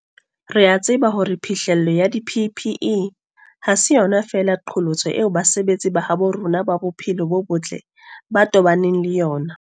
Re a tseba hore phihlello ya di-PPE ha se yona feela qholotso eo basebetsi ba habo rona ba bophelo bo botle ba tobaneng le yona.